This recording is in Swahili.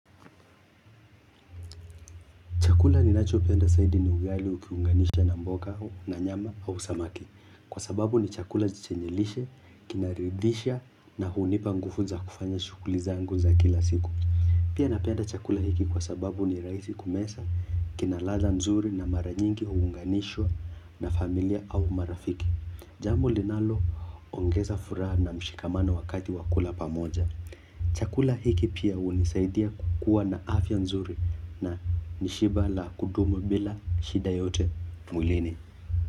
Chakula ninachopenda zaidi ni ugali ukiunganisha na mboga na nyama au samaki. Kwa sababu ni chakula chenye lishe, kinaridhisha na hunipa nguvu za kufanya shughuli zangu za kila siku. Pia napenda chakula hiki kwa sababu ni rahisi kumeza, kina ladha nzuri na mara nyingi huunganishwa na familia au marafiki. Jambo linalo ongeza furaha na mshikamana wakati wakula pamoja. Chakula hiki pia hunisaidia kukuwa na afya nzuri na nishiba la kudumu bila shida yoyote mwilini.